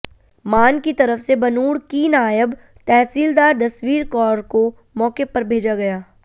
मान की तरफ से बनूड़ की नायब तहसीलदार जसवीर कौर को मौके पर भेजा गया